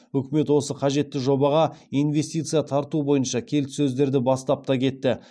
үкімет осы қажетті жобаға инвестиция тарту бойынша келіссөздерді бастап та кетті